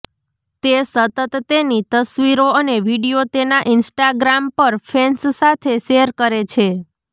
તે સતત તેની તસવીરો અને વીડિયો તેના ઇન્ટાગ્રામ પર ફેન્સ સાથે શેર કરે છે